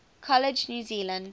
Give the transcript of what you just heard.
college new zealand